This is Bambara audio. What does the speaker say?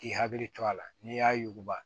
K'i hakili to a la n'i y'a yuguba